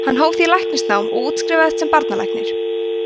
hann hóf því læknanám og útskrifaðist sem barnalæknir